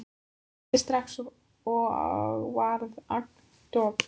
Ég hlýddi strax og varð agndofa.